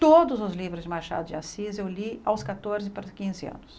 Todos os livros de Machado de Assis eu li aos catorze para quinze anos.